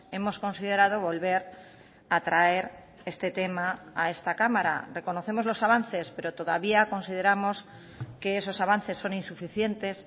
hemos considerado volver a traer este tema a esta cámara reconocemos los avances pero todavía consideramos que esos avances son insuficientes